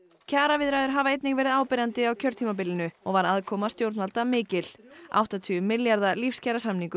kjaraviðræður hafa einnig verið áberandi á kjörtímabilinu og var aðkoma stjórnvalda mikil áttatíu milljarða